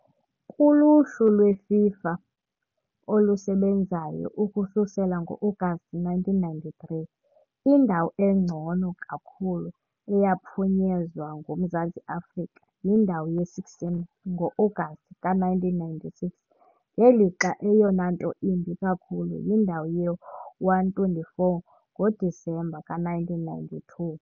Kuluhlu lweFIFA olusebenzayo ukususela ngo-Agasti 1993, indawo engcono kakhulu eyaphunyezwa nguMzantsi Afrika yindawo ye-16 ngo-Agasti ka -1996, ngelixa eyona nto imbi kakhulu yindawo ye-124 ngoDisemba ka -1992 .